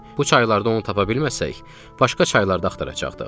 Bu çaylarda onu tapa bilməsək, başqa çaylarda axtaracaqdıq.